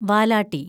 വാലാട്ടി